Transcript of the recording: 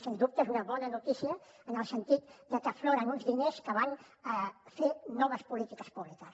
sens dubte és una bona notícia en el sentit que afloren uns diners que van a fer noves polítiques públiques